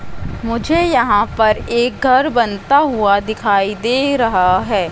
मुझे यहां पर एक घर बनता हुआ दिखाई दे रहा है।